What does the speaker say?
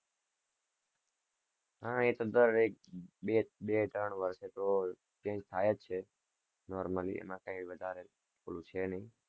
હા એ તો દરેક ત્રણેક બે બે બે ત્રણ વર્ષ તો change થાય જ છે. normaly એમાં કઈ વધારે ઓલું છે ની.